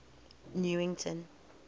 newington